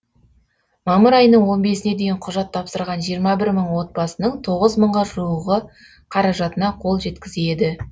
мамыр айының он бесіне дейін құжат тапсырған жиырма бір мың отбасының тоғыз мыңға жуығы қаражатына қол жеткізеді